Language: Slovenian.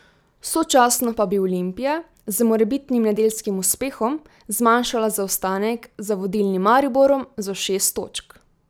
Sočasno pa bi Olimpija z morebitnim nedeljskim uspehom zmanjšala zaostanek za vodilnim Mariborom na šest točk.